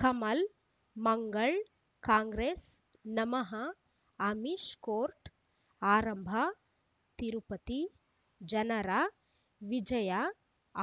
ಕಮಲ್ ಮಂಗಳ್ ಕಾಂಗ್ರೆಸ್ ನಮಃ ಅಮಿಷ್ ಕೋರ್ಟ್ ಆರಂಭ ತಿರುಪತಿ ಜನರ ವಿಜಯ